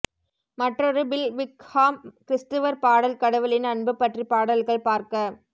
மற்றொரு Bill Wickham கிரிஸ்துவர் பாடல் கடவுளின் அன்பு பற்றி பாடல்கள் பார்க்க